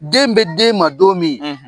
Den bɛ d'e man don min